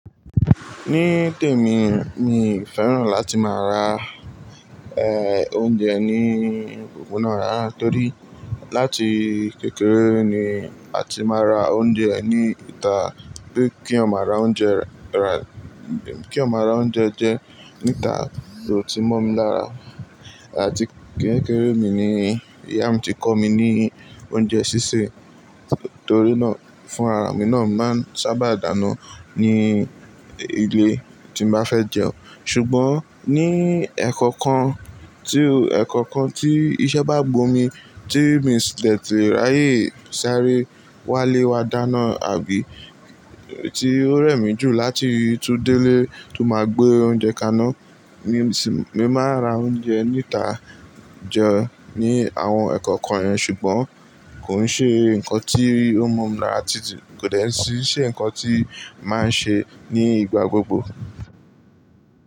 Ní tèmi, mi ò fẹ́ràn láti máa ra, eh, oúnjẹ ní opoponá ràra. Torí láti kékeré ni a ti máa ra oúnjẹ ní ìta bí kí eeyan ra oúnjẹ, ra-- kí eeyan ra oúnjẹ jẹ́ níta kò ti mọ́ mi lára àti kẹ́kẹ́rẹ́ mi ni ìyá mi ti kọ́ mi ní oúnjẹ sísè torí náà fún ara emi náà máa ń sábà dànù ní ilé tí n bá fẹ́ jẹun. Ṣùgbọ́n ní ẹ̀kọ̀kan tí, ẹ̀kọ̀kan tí iṣẹ́ bá gbó mi tí mi lè tìráyé sáré wá lé wa dànà àbí tí ó rẹ̀ mí jù láti tú délé tó máa gbé oúnjẹ kaná ní sìn mi máa ra oúnjẹ níta jẹun ní àwọn ẹ̀kọ̀kan ẹ. Ṣùgbọ́n kò ń ṣe nǹkan tí ó mọ̀ mi lára títí kò dẹ̀ tí ṣe nǹkan tí màá ṣe ní ìgbà gbogbo.